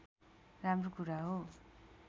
राम्रो कुरा हो